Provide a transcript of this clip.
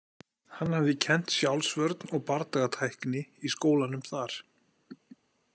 Hann hafði kennt sjálfsvörn og bardagatækni í skólanum þar.